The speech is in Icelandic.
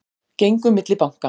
Gengu milli banka